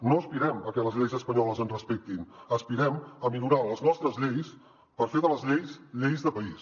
no aspirem a que les lleis espanyoles ens respectin aspirem a millorar les nostres lleis per fer de les lleis lleis de país